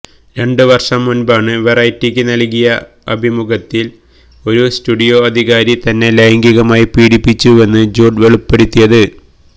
രണ്ട് വര്ഷം മുന്പാണ് വെറൈറ്റിക്ക് നല്കിയ അഭിമുഖത്തില് ഒരു സ്റ്റുഡിയോ അധികാരി തന്നെ ലൈംഗികമായി പീഡിപ്പിച്ചുവെന്ന് ജൂഡ് വെളിപ്പെടുത്തിയത്